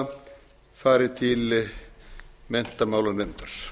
tillaga fari til menntamálanefndar